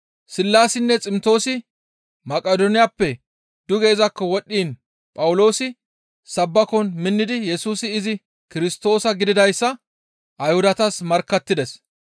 Sillaasinne Ximtoosi Maqidooniyappe duge izakko wodhdhiin Phawuloosi sabbakon minnidi Yesusi izi Kirstoosa gididayssa Ayhudatas markkattides.